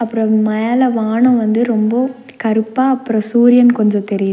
அப்றோ மேல வானோ வந்து ரொம்போ கருப்பா அப்றோ சூரியன் கொஞ்சோ தெரியிது.